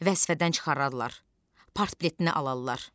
Vəzifədən çıxararlar, partbiletini alarlar.